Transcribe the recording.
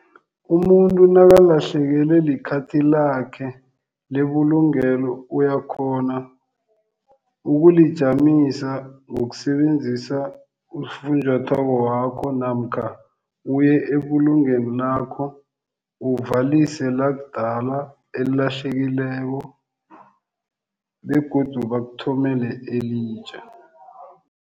Umuntu nakalahlekelwe likhathi lakhe lebulungelo uyakhona ukulijamisa ngokusebenzisa ufunjathwako wakho namkha uye ebulungweni lakho uvalilise lakudala elilahlekileko begodu bakuthumele elitjha.